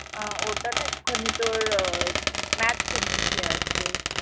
ওটা না একটুখানি তোর আহ matte finish আছে